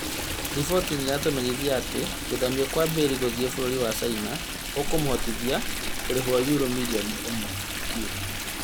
Riboti nĩaratũmenyithia atĩ gũthamio Kwa Bale gũthiĩ bũrũri wa China ũkũmũteithia kũrĩhwo yuro mirioni ĩmwe harĩ kiumia